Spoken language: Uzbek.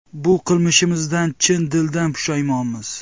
Bu qilmishimizdan chin dildan pushaymonmiz.